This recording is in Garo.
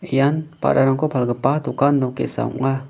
ian ba·rarangko palgipa dokan nok ge·sa ong·a.